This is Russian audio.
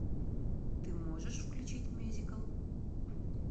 ты можешь включить мюзикл